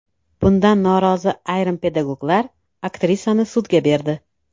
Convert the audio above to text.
Bundan norozi ayrim pedagoglar aktrisani sudga berdi.